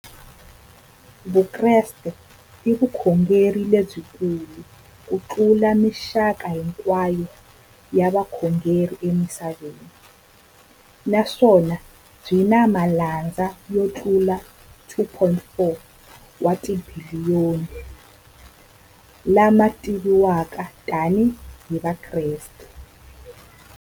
Vukreste i vukhongeri lebyi kulu kutlula mixaka hinkwayo ya vukhongeri emisaveni, naswona byi na malandza yo tlula 2.4 wa tibiliyoni, la ma tiviwaka tani hi Vakreste.